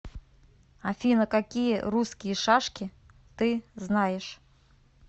афина какие русские шашки ты знаешь